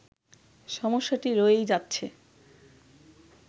সমস্যাটি রয়েই যাচ্ছে